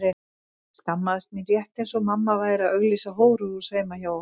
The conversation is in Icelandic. Ég skammaðist mín rétt eins og mamma væri að auglýsa hóruhús heima hjá okkur.